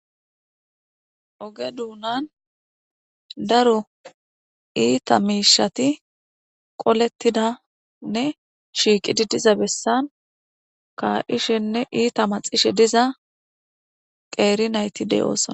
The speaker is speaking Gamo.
oge duunan daro iita miishati qolettidanne shiiqidi diza bessan ka7ishenne iita maxishe diza qeeri nayti de7oosna